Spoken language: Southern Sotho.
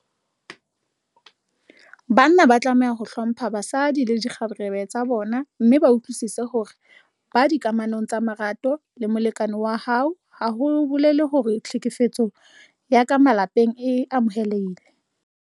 Banna ba tlameha ho hlompha basadi le dikgarebe tsa bona mme ba utlwisise hore ho ba dikamanong tsa marato le molekane wa hao ha ho bolele hore tlhekefetso ya ka malapeng e amohelehile.